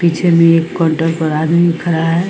पीछे में एक काउंटर पे आदमी खड़ा है।